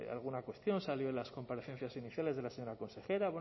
alguna cuestión salió en las comparecencias iniciales de la señora consejera